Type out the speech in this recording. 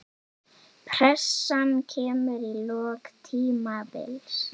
Pressan kemur í lok tímabils.